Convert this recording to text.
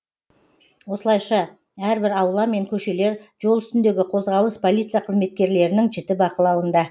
осылайша әрбір аула мен көшелер жол үстіндегі қозғалыс полиция қызметкерлерінің жіті бақылауында